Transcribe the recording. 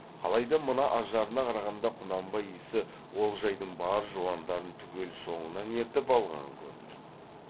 қалай да мына ажарына қарағанда құнанбай иісі олжайдың бар жуандарын түгел соңынан ертіп алған көрінеді